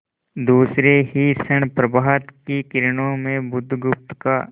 दूसरे ही क्षण प्रभात की किरणों में बुधगुप्त का